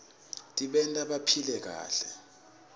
tbanta baphile kahle